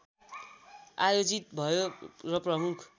आयोजित भयो र प्रमुख